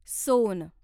सोन